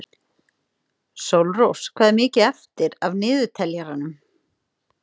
Sólrós, hvað er mikið eftir af niðurteljaranum?